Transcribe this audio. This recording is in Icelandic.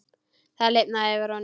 Það lifnaði yfir honum.